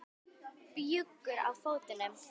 Bjúgur á fótum.